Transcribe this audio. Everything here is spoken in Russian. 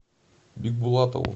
бикбулатову